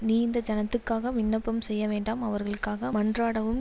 நீ இந்த ஜனத்துக்காக விண்ணப்பம் செய்யவேண்டாம் அவர்களுக்காக மன்றாடவும்